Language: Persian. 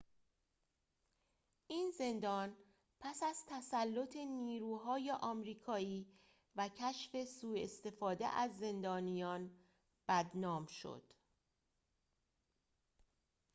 این زندان پس از تسلط نیروهای آمریکایی و کشف سوء استفاده از زندانیان بدنام شد